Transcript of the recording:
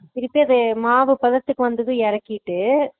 திருப்பி அதை மாவு பதத்துக்கு வந்ததும் எறக்கிட்டு